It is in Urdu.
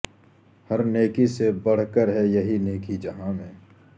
ہر نیکی سے بڑھ کر ہے یہی نیکی جہاں میں